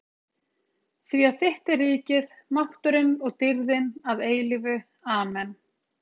. því að þitt er ríkið, mátturinn og dýrðin að eilífu- Amen.